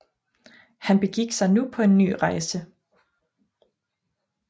Han begik sig nu på en ny rejse